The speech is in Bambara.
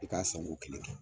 I ka san ko kelen kɛ.